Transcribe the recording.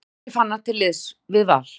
Andri Fannar til liðs við Val